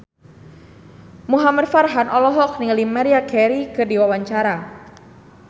Muhamad Farhan olohok ningali Maria Carey keur diwawancara